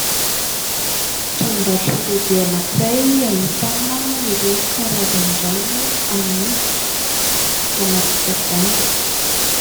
Tranom-barotra lehibe anankiray ahitana ireo karazan-drano amidy, anaty tavohangy.